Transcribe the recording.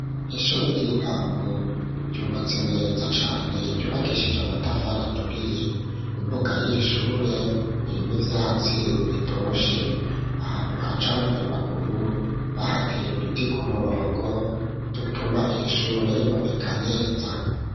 Ishure ry'intango ryubatse neza cane ryubakishije amatafa araturiye, imbuga y'iri shure irimw'ivyatsi bitoshe ahantu haca abanyamaguru bahateye uduti ku murongo dutuma iri shure riboneka neza.